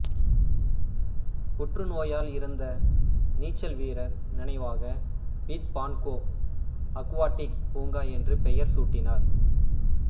புற்று நோயால் இறந்த நீச்சல் வீரர் நினைவாக பீத் பான்கோ அக்வாடிக் பூங்கா என்று பெயர் சூட்டினார்